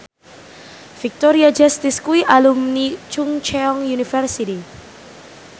Victoria Justice kuwi alumni Chungceong University